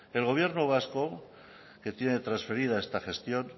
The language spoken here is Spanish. el gobierno vasco que tiene transferida esa gestión